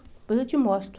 Depois eu te mostro.